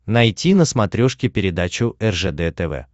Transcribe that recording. найти на смотрешке передачу ржд тв